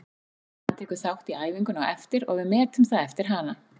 Hann tekur þátt í æfingunni á eftir og við metum það eftir hana.